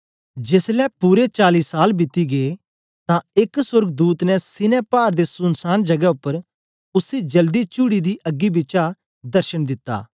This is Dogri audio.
जेसलै पूरे चाली साल बीती गै तां एक सोर्गदूत ने सीनै पाड़ दे सुनसान जगै उपर उसी जलदी चुअड़ी दी अग्गी बिचा दर्शन दिता